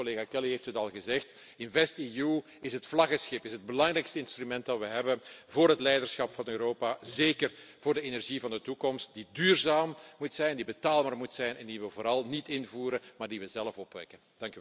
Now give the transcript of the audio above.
Kortom, collega Kelly heeft het al gezegd InvestEU is het vlaggenschip, is het belangrijkste instrument dat we hebben voor het leiderschap van Europa, zeker voor de energie van de toekomst die duurzaam moet zijn, die betaalbaar moet zijn en die we vooral niet invoeren, maar die we zelf opwekken.